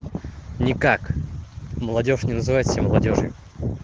никак молодёжь не называет себя молодёжью